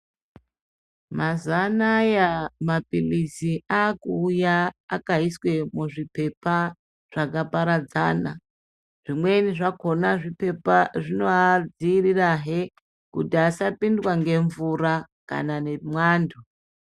Mazuva anaya mapirizi akuuya akaiswa muzvipepa zvakaparadzana zvimweni zvakona zvipepa zvinoadzivirirahe kuti asapindwa nemvura kana ngemwando.